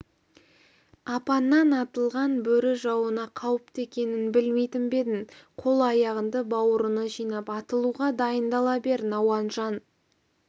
апаннан атылған бөрі жауына қауіпті екенін білмейтін бе едің қол-аяғыңды бауырыңа жинап атылуға дайындала бер науанжан